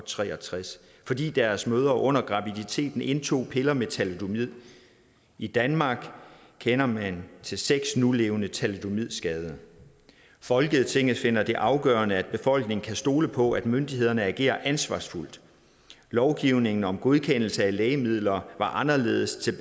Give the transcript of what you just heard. tre og tres fordi deres mødre under graviditeten indtog piller med thalidomid i danmark kender man til seks nulevende thalidomidskadede folketinget finder det afgørende at befolkningen kan stole på at myndighederne agerer ansvarsfuldt lovgivningen om godkendelse af lægemidler var anderledes